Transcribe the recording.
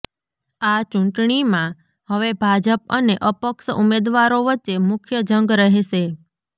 આ ચુંટણીમાં હવે ભાજપ અને અપક્ષ ઉમેદવારો વચ્ચે મુખ્ય જંગ રહેશે